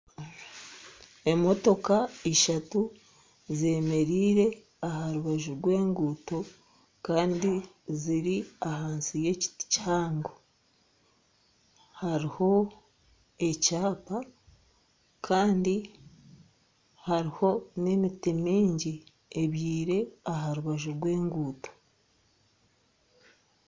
Emotoka ishatu zemereire aharubaju rwe ngunto Kandi ziri ahansi y'ekiti kihango. Hariho ekyapa Kandi hariho n'emiti mingi ebyire aharubaju rw'enguto.